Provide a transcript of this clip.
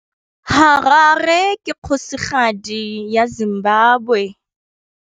Harare ke kgosigadi ya Zimbabwe.